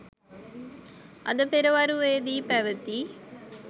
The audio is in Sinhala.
අද පෙරවරුවේදී පැවැති